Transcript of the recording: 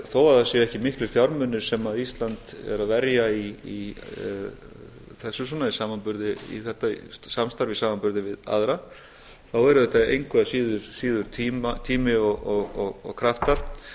þó að það séu ekki miklir fjármunir sem ísland er að verja í þetta samstarf í samanburði við aðra eru þetta engu að síður tími og kraftar